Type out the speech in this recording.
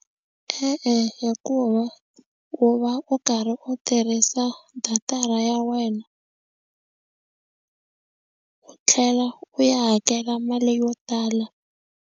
E-e, hikuva u va u karhi u tirhisa datara ya wena u tlhela u ya hakela mali yo tala.